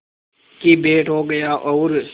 की भेंट हो गया और